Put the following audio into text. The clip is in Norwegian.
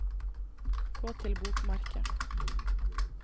gå til bokmerke